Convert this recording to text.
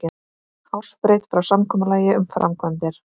Hársbreidd frá samkomulagi um framkvæmdir